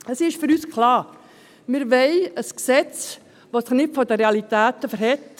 In diesem Sinne ist für uns klar: Wir wollen ein Gesetz, das sich nicht den Realitäten verschliesst.